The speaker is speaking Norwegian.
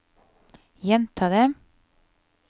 gjenta det